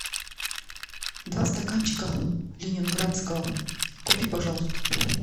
два стаканчика ленинградского купи пожалуйста